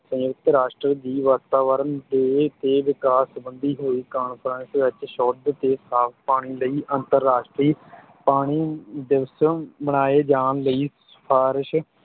ਸੰਯੁਕਤ ਰਾਸ਼ਟਰ ਦੀ ਵਾਤਾਵਰਣ day ਤੇ ਵਿਕਾਸ ਸੰਬੰਧੀ ਹੋਈ conference ਵਿੱਚ ਸ਼ੁੱਧ ਤੇ ਸਾਫ ਪਾਣੀ ਲਈ ਅੰਤਰਰਾਸ਼ਟਰੀ ਪਾਣੀ ਦਿਵਸ ਮਨਾਏ ਜਾਣ ਲਈ ਸਿਫਾਰਸ਼